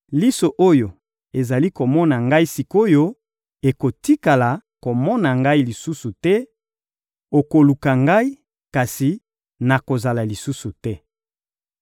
Liso oyo ezali komona ngai sik’oyo ekotikala komona ngai lisusu te; okoluka ngai, kasi nakozala lisusu te.